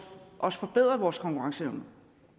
at forbedre vores konkurrenceevne